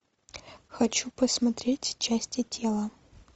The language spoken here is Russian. хочу посмотреть части тела